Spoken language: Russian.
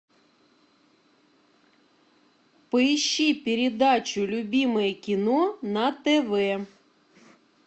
поищи передачу любимое кино на тв